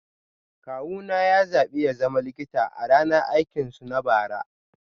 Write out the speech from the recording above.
Kawuna ya zaɓi ya zama likita a ranar aikinsu na bara